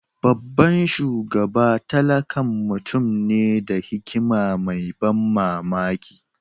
Babban shugaba tallakan mutum ne da hikima mai ban mamaki.